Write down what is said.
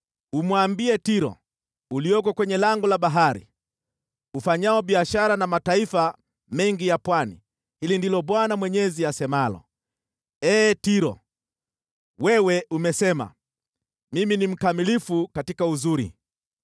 Umwambie Tiro, ulioko kwenye lango la bahari, ufanyao biashara na mataifa mengi ya pwani, ‘Hili ndilo Bwana Mwenyezi asemalo: “ ‘Ee Tiro, wewe umesema, “Mimi ni mkamilifu katika uzuri.”